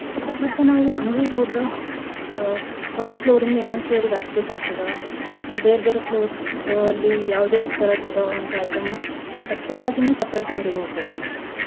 ಮತ್ತ ನಾವೂ ಅಂಗ್ಡಿಗ್ ಹೋದ್ರ ಅಹ್ ಒಂದ್ floor ಯಿಂದ ಇನ್ನೋಂದ್ floor ಗ್ ಹತ್ತ್ ಬೇಕಾಗ್ತದ ಮತ್ತ ಬೇರ್ ಬೇರೆ floors ಅಲ್ಲಿ ಯಾವ್ದ ಯಾವ್ದ ತರದ್ ಇದಾವ ಅಂತ items ಬಟ್ಟೆಗಾಗಿನ separate ಅಂಗ್ಡಿಗ್ ಹೋಗ್ಬೇಕ್ರೀ.